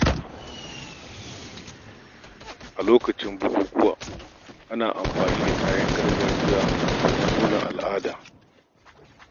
A lokacin bukukuwa, ana amfani da kayan gargajiya domin nuna al’ada.